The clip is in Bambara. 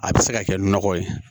A bɛ se ka kɛ nɔgɔ ye